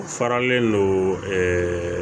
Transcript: U faralen don ɛɛ